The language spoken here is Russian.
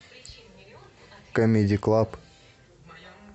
камеди клаб